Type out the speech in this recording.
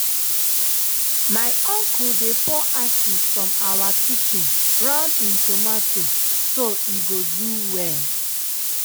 my uncle dey pour ashes from awa kitchen round him tomato so e go do well.